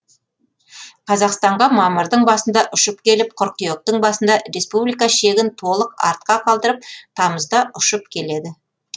қазақстанға мамырдың басында ұшып келіп қыркүйектің басында республика шегін толық артқа қалдырып тамызда ұшып келеді